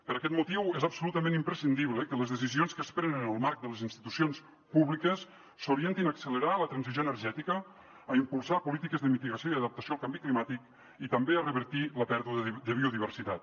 per aquest motiu és absolutament imprescindible que les decisions que es prenen en el marc de les institucions públiques s’orientin a accelerar la transició energètica a impulsar polítiques de mitigació i adaptació al canvi climàtic i també a revertir la pèrdua de biodiversitat